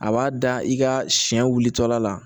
A b'a da i ka siɲɛ wuli tɔla la